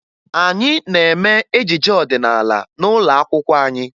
Anyị na-eme ejije ọdịnaala n'ụlọ akwụkwọ anyị